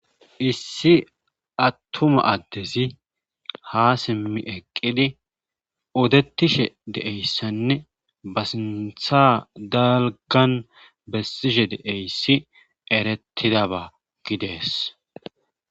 issi attuma addezi ha simmi eqqidi odetishe deeyssanne ba sintha dalgan bessishe deeyssi erettidaba gidees